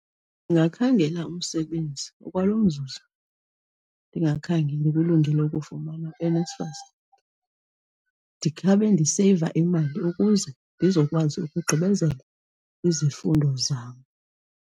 Ndingakhangela umsebenzi ngokwalo mzuzu ndingakhange ndikulungele ukufumana uNSFAS, ndikhawube ndiseyiva imali ukuze ndizokwazi ukugqibezela izifundo zam.